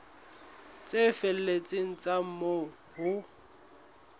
tse felletseng tsa moo ho